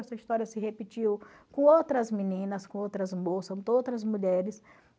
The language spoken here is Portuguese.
Essa história se repetiu com outras meninas, com outras moças, com outras mulheres